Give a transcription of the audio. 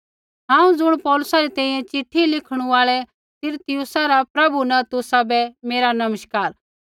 हांऊँ ज़ुण पौलुसा री तैंईंयैं चिट्ठी लिखणु आल़ै तिरतियुसा रा प्रभु न तुसाबै मेरा नमस्कार